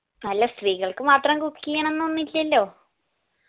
അല്ല സ്ത്രീകൾക്ക് മാത്രം cooking ഇനൊന്നൊന്നില്ലല്ലോ